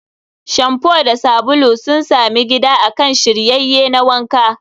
Shamfu da sabulu sun sami gida akan shiryayye na wanka.